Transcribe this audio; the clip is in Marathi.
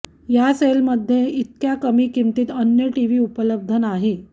या सेलमध्ये इतक्या कमी किंमतीत अन्य टीव्ही उपलब्ध नाही